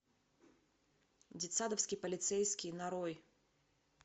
детсадовский полицейский нарой